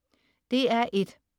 DR1: